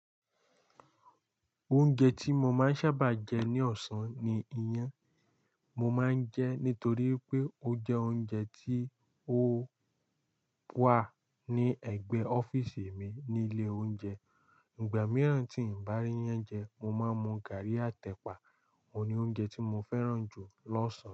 Oúnjẹ tí mo máa ń sábàa jẹ ní ọ̀sán ni iyán. Mo máa ń jẹ nítoríi pé ó jẹ́ oúnjẹ tí ó wà ní ẹ̀gbẹ́ ọ́fíísì mi nílé oúnjẹ. Ìgbà mìíràn tí n bá ríyán jẹ, mo máa ń mu gàrrí àt'ẹ̀pà. Óun ní oúnjẹ tí mo fẹ́ràn jù lọ́sàn-án.